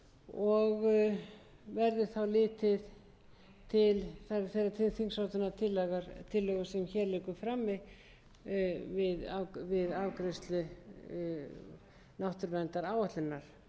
og verði þá litið til þeirrar þingsályktunartillögu sem hér liggur frammi við afgreiðslu náttúruverndaráætlunar ef